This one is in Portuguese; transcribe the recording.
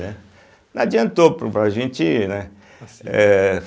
Né. Não adiantou para a gente, né eh.